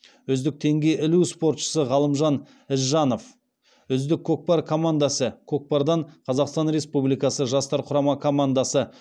үздік теңге ілу спортшысы ғалымжан ізжанов үздік көкпар командасы көкпардан қазақстан республикасы жастар құрама командасы